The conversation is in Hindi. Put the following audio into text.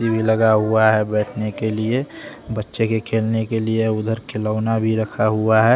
लगा हुआ है बैठने के लिए बच्चे के खेलने के लिए उधर खिना भी रखा हुआ है।